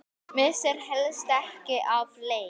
Missir helst ekki af leik.